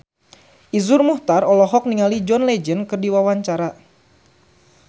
Iszur Muchtar olohok ningali John Legend keur diwawancara